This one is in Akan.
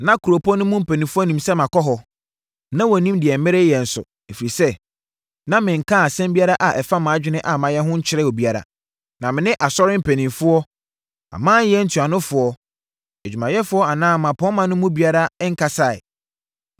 Na kuropɔn no mu mpanimfoɔ nnim sɛ makɔ hɔ, na wɔnnim deɛ mereyɛ nso, ɛfiri sɛ, na menkaa asɛm biara a ɛfa mʼadwene a mayɛ ho nkyerɛɛ obiara. Na me ne asɔre mpanimfoɔ, amanyɛ ntuanofoɔ, adwumayɛfoɔ anaa mmapɔmma no mu biara nkasaeɛ.